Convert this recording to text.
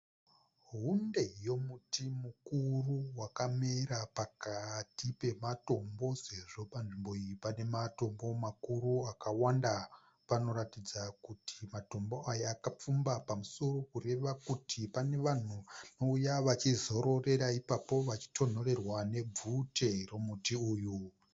Hunde yomuti mukuru wakamera pakati pematombo sezvo panzvimbo iyi pane matombo makuru akawanda. Panoratidza kuti matombo aya akapfumba pamusoro kureva kuti pane vanhu vanouya vachizororera ipapo vachitonhorerwa nebvute romuti uyu.